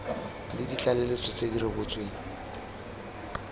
le ditlaleletso tse di rebotsweng